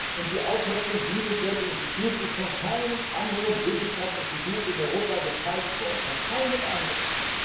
Und die Auffassung dieses deutschen Instituts ist von keinem anderen wissenschaftlichen Institut in Europa geteilt worden, von keinem anderen!